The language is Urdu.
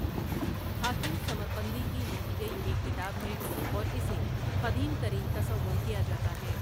حاکم ثمرقندی کی لکھی گئی ایک کتاب ہے اور اسے قدیم ترین تصور کیا جاتا ہے ۔